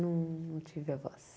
Não tive avós.